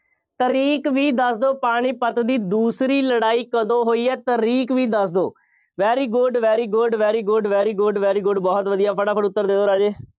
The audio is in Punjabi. ਤਾਰੀਕ ਵੀ ਦੱਸ ਦਿਓ, ਪਾਣੀਪਤ ਦੀ ਦੂਸਰੀ ਲੜਾਈ ਕਦੋਂ ਹੋਈ ਹੈ, ਤਾਰੀਕ ਵੀ ਦੱਸ ਦਿਓ very good, very good, very good, very good, very good ਬਹੁਤ ਵਧੀਆ, ਫਟਾਫਟ ਉੱਤਰ ਦੇ ਦਿਓ ਰਾਜੇ।